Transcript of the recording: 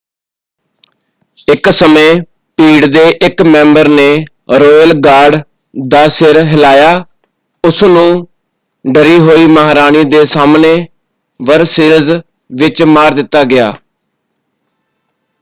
ਇੱਕ ਸਮੇਂ ਭੀੜ ਦੇ ਇੱਕ ਮੈਂਬਰ ਨੇ ਰੌਇਲ ਗਾਰਡ ਦਾ ਸਿਰ ਹਿਲਾਇਆ ਉਸਨੂੰ ਡਰੀ ਹੋਈ ਮਹਾਰਾਣੀ ਦੇ ਸਾਹਮਣੇ ਵਰਸੇਲਜ਼ ਵਿੱਚ ਮਾਰ ਦਿੱਤਾ ਗਿਆ।